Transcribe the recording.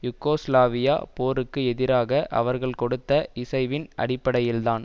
யூகோஸ்லாவிய போருக்கு எதிராக அவர்கள் கொடுத்த இசைவின் அடிப்படையில் தான்